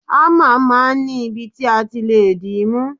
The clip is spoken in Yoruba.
Hámà máa ń ní ibi ti a ti lé di mú.